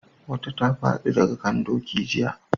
Wata ta fadi daga kan doki jiya